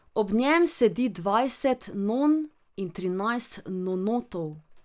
Ob njem sedi dvajset non in trinajst nonotov.